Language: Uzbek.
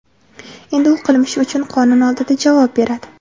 Endi u qilmishi uchun qonun oldida javob beradi.